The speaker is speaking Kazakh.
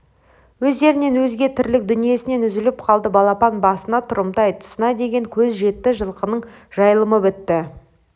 өздерінен өзге тірлік дүниесінен үзіліп қалды балапан басына тұрымтай тұсына деген кез жетті жылқының жайылымы бітті